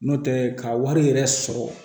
N'o tɛ ka wari yɛrɛ sɔrɔ